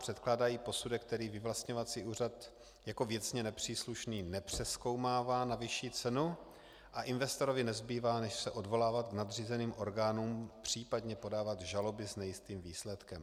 Předkládají posudek, který vyvlastňovací úřad jako věcně nepříslušný nepřezkoumává na vyšší cenu, a investorovi nezbývá než se odvolávat k nadřízeným orgánům, případně podávat žaloby s nejistým výsledkem.